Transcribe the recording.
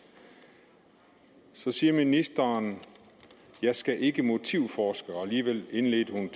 så siger ministeren jeg skal ikke motivforske og alligevel indledte hun